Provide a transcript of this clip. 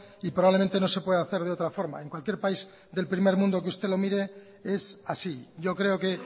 y probablemente no se puede hacer de otra forma en cualquier país del primer mundo que usted lo mire es así yo creo que